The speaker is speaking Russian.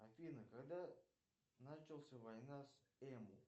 афина когда началась война с эму